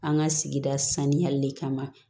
An ka sigida saniyali kama